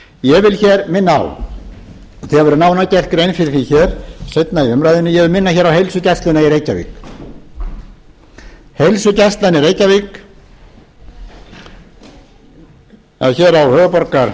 ég vil hér minna á það verður nánar gerð grein fyrir því hér seinna í umræðunni ég vil minna hér á heilsugæsluna í reykjavík heilsugæslan í reykjavík eða hér